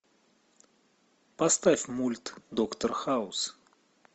поставь мульт доктор хаус